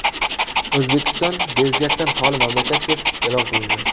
O‘zbekiston bezgakdan xoli mamlakat deb e’lon qilindi.